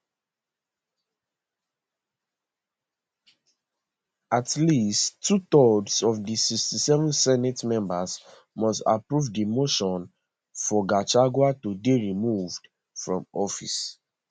at least twothirds of di 67 senate members must approve di motion for gachagua to dey removed from office